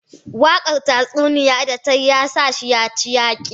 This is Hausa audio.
Wakar tatsuniya da ta yi ya sa shi ya ci yaki.